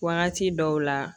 Wagati dɔw la